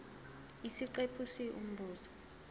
isiqephu c umbuzo